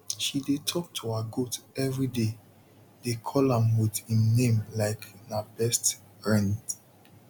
she dey talk to her goat everyday dey call am with im name like na best riend